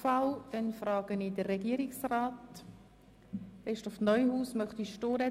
Es gibt keine weiteren Fraktionssprecher.